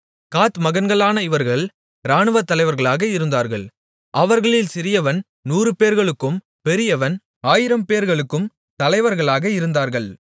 காத் மகன்களான இவர்கள் இராணுவத்தலைவர்களாக இருந்தார்கள் அவர்களில் சிறியவன் நூறுபேர்களுக்கும் பெரியவன் ஆயிரம்பேர்களுக்கும் தலைவர்களாக இருந்தார்கள்